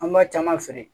An b'a caman feere